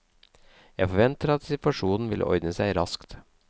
Jeg forventer at situasjonen vil ordne seg raskt.